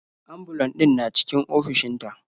Ambulan ɗin na cikin ofishin ta.